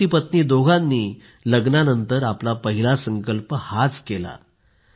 पतीपत्नी दोघांनी लग्नानंतर आपला पहिला संकल्प हाच केला